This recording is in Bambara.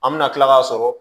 An bɛna kila k'a sɔrɔ